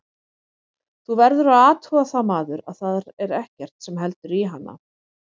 Þú verður að athuga það maður, að þar er ekkert sem heldur í hana.